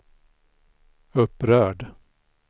upprörd